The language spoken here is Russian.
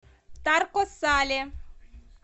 тарко сале